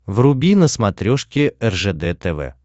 вруби на смотрешке ржд тв